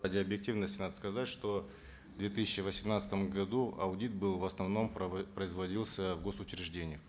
ради объективности надо сказать что в две тысячи восемнадцатом году аудит был в основном производился в гос учреждениях